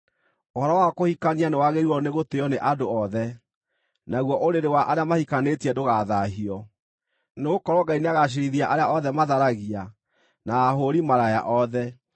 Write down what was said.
Ũhoro wa kũhikania nĩwagĩrĩirwo nĩgũtĩĩo nĩ andũ othe, naguo ũrĩrĩ wa arĩa mahikanĩtie ndũgathaahio; nĩgũkorwo Ngai nĩagaciirithia arĩa othe matharagia, na ahũũri-maraya othe.